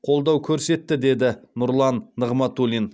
қолдау көрсетті деді нұрлан нығматулин